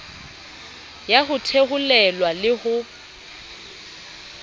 ya ho theolelwa le ho